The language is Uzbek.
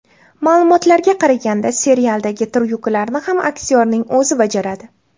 Ma’lumotlarga qaraganda serialdagi tryuklarni ham aktyorning o‘zi bajaradi.